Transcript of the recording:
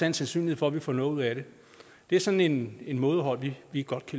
en sandsynlighed for at vi får noget ud af det det er sådan et mådehold vi vi godt